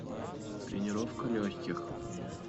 тренировка легких